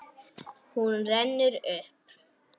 Hún rennur upp.